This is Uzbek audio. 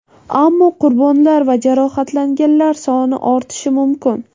Ammo qurbonlar va jarohatlanganlar soni ortishi mumkin.